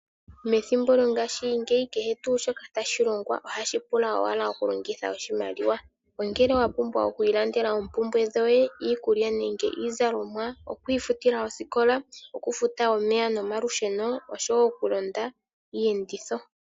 Methimbo lyongashingeyi kehe tuu shoka tashi longwa ohashi pula owala okulongitha oshimaliwa, ongele wa pumbwa oku ilandela oompumbwe dhoye, iikulya nenge iizalomwa, oku ifutila osikola, okufuta omeya nomalusheno osho wo okulanda iiyenditho.